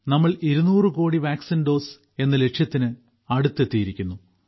നമ്മൾ 200 കോടി vaccine dose എന്ന ലക്ഷ്യത്തിന് അടുത്തെത്തിയിരിക്കുന്നു